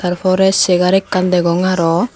ta forey segar ekkan degong arow.